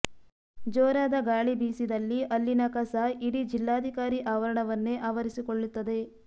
ಜೋರಾದ ಗಾಳಿ ಬೀಸಿದಲ್ಲಿ ಅಲ್ಲಿನ ಕಸ ಇಡೀ ಜಿಲ್ಲಾಧಿಕಾರಿ ಆವರಣವನ್ನೇ ಆವರಿಸಿಕೊಳ್ಳುತ್ತದೆ